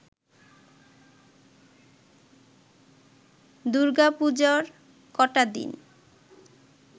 দূর্গাপুজোর কটা দিন